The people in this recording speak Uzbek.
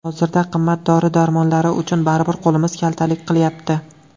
Hozirda qimmat dori-darmonlari uchun baribir qo‘limiz kaltalik qilyapti.